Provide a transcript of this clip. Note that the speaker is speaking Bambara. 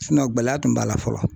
gɛlɛya tun b'a la fɔlɔ.